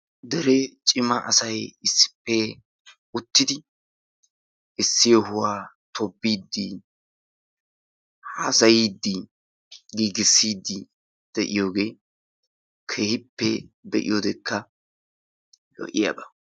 Dere cima asayi issippe uttidi issi yohuwa tobbiiddi haasayiiddi, giigissiidfi de"iyoogee keehippe be"iyodekka lo"iyaba.